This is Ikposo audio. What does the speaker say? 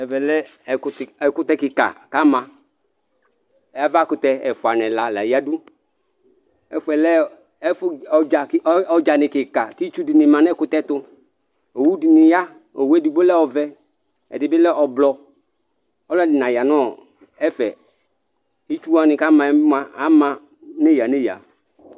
Ɛvɛ lɛ ɛkutɛ kika ku ama avakutɛ ɛfua nu ɛla la yadu Ɛfuɛ lɛ ɔdzani kika ku itsudini ma nu ɛkutɛ tu Owu dini ya owu edigbo lɛ ɔvɛ ɛdibi lɛ ɔblɔ Ɔlɔdi naya nu ɛfɛ Itsu wani ku ama bi mua ama nu eya nu eya